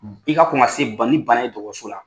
i ka kɔn ka se ni banna ye dɔgɔtɔrɔso la.